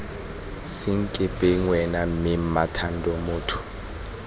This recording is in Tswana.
senkepeng wena mme mmathando motho